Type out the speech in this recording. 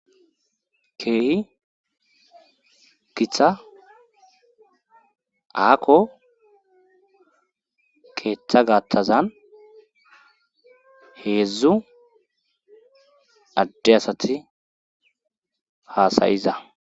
keehi githa aakko keeththa gaattazan heedzdzu adde asati haasayiza